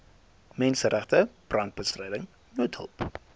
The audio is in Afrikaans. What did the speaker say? menseregte brandbestryding noodhulp